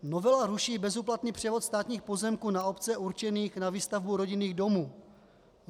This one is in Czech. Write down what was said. Novela ruší bezúplatný převod státních pozemků na obce určených na výstavbu rodinných domů.